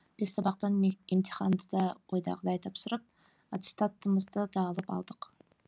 бес сабақтан емтиханды да ойдағыдай тапсырып аттестатымызды да алып алдық